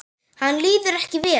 Henni líður ekki vel.